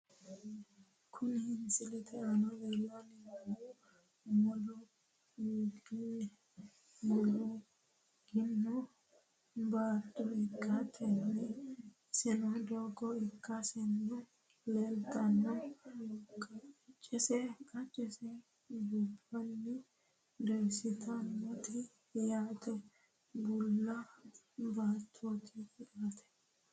Kuni misilete aana leellanni noohu, mulluugino baatto ikkitanna , iseno doogo ikkaseno leeltanno, qaccese dubbunni doyiissantinote yaate. bulla baattooti yaate .